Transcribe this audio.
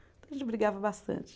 brigava bastante.